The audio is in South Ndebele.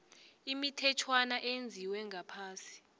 imithetjhwana eyenziwe ngaphasi